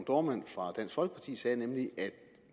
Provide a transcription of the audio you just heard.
dohrmann fra dansk folkeparti sagde nemlig at vi